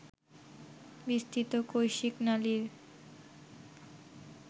বিস্তৃত কৈশিক নালীর